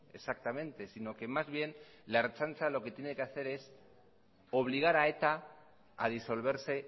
exactamente si no que más bien la ertzaintza lo que tiene que hacer es obligar a eta a disolverse